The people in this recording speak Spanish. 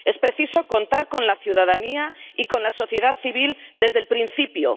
Es preciso contar con la ciudadanía y con la sociedad civil desde el principio